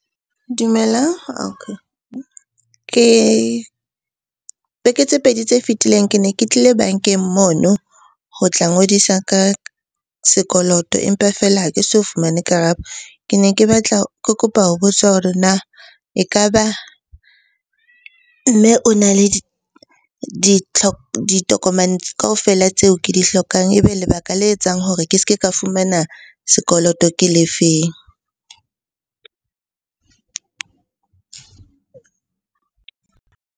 Dumelang. Beke tse pedi tse fetileng ke ne ke tlile bankeng mono ho tla ngodisa ka sekoloto, empa feela ha ke so fumane karabo. Ke ne ke batla, ke kopa ho botsa hore na e ka ba mme o na le ditokomane kaofela tseo ke di hlokang, ebe lebaka le etsang hore ke se ke ka fumana sekoloto ke le feng?